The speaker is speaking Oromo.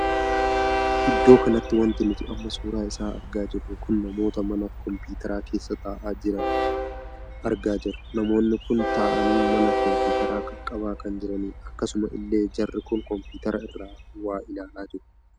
Iddoo kanatti wanti nuti amma suuraa isaa argaa jirru kun namoota mana kompiteera keessa taa'aa jira jiran argaa jirra. namoonni kun taa'anii mana kompiteera qaqqabaa kan jiranidha. akkasuma illee jarri kun kompiteera irra waa ilaalaa jiru.